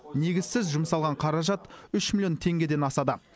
негізсіз жұмсалған қаражат үш миллион теңгеден асады